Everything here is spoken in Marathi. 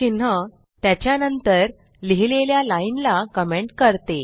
चिन्ह त्याच्या नंतर लिहिलेल्या लाइन ला कमेंट करते